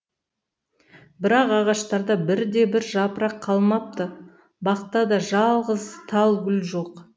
бірақ ағаштарда бірде бір жапырақ қалмапты бақта да жалғыз тал гүл жоқ